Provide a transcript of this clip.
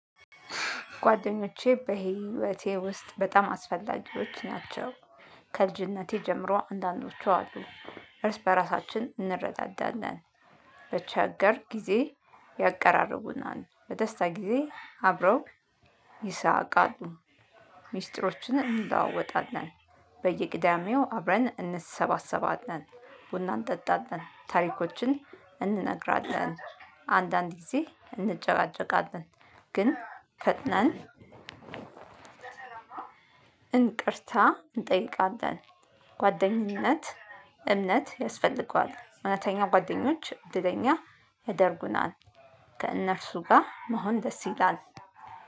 ጓደኞቼ በህይወቴ ውስጥ በጣም አስፈላጊዎች ናቸው። ከልጅነቴ ጀምሮ አንዳንዶቹ አሉ። እርስ በራሳችን እንረዳዳለን። በቸገር ጊዜ ያቀራርቡናል በደስታ ጊዜ አብረው ይሳቃሉ። ሚስጥሮችን እንልወወጣለን። በየቅዳሜው አብረን እንሰባሰባለን። ቡናን እንጠጣለን ታሪኮችን እንነግራለን። አንዳንድ ጊዜ እንጨቃጨቃለን። ግን ፈጥናን እንቅርታ እንጠይቃለን። ጓደኝነት እምነት ያስፈልገዋል። እውነተኛው ጓደኞች እድለኛ ያደርጉናል። ከእነርሱ ጋር መሆን ደስ ይላል